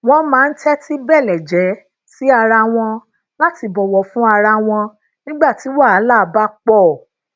wón máa ń tétí beleje si ara won lati bòwò fún ara wọn nígbà tí wàhálà bá po